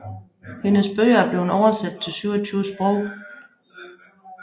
Hendes bøger er blevet oversat til 27 sprog